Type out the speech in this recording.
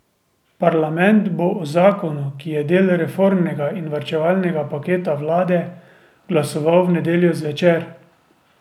Parlament bo o zakonu, ki je del reformnega in varčevalne paketa vlade, glasoval v nedeljo zvečer.